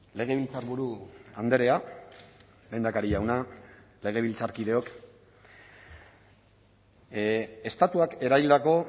legebiltzarburu andrea lehendakari jauna legebiltzarkideok estatuak eraildako